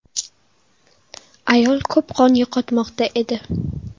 Ayol ko‘p qon yo‘qotmoqda edi.